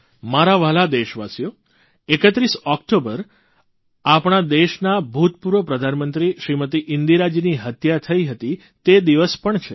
મારા વ્હાલા દેશવાસીઓ 31 ઓકટોબર આપણા દેશનાં ભૂતપૂર્વ પ્રધાનમંત્રી શ્રીમતી ઇન્દિરાજીની હત્યા થઇ હતી તે દિવસ પણ છે